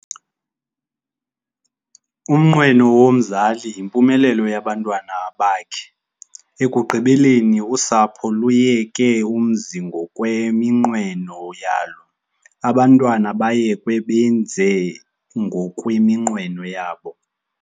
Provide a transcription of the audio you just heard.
Umnqweno womzali yimpumelelo yabantwana bakhe. ekugqibeleni usapho luyeke umzi ngokweminqweno yalo, abantwana bayekwe benze ngokweminqweno yabo